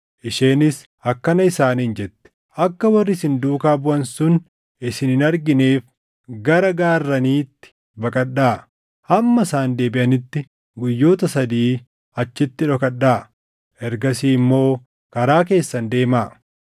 Isheenis akkana isaaniin jette; “Akka warri isin duukaa buʼan sun isin hin argineef gara gaarraniitti baqadhaa. Hamma isaan deebiʼanitti guyyoota sadii achitti dhokadhaa; ergasii immoo karaa keessan deemaa.”